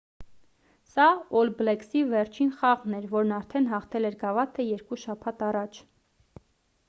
սա օլ բլեքսի վերջին խաղն էր որն արդեն հաղթել էր գավաթը երկու շաբաթ առաջ